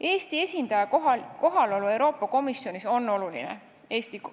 Eesti esindaja kohalolu Euroopa Komisjonis on oluline.